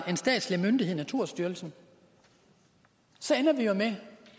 en statslig myndighed naturstyrelsen så ender vi jo med